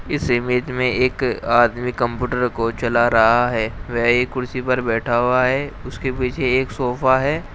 इस इमेज में एक आदमी कम्पूटर को चला रहा है वह एक कुर्सी पर बैठा हुआ है उसके पीछे एक सोफा है।